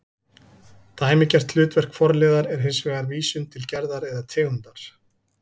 Dæmigert hlutverk forliðar er hins vegar vísun til gerðar eða tegundar